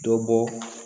Dɔ bɔ